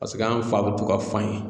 Paseke an fa bɛ to ka fan ye.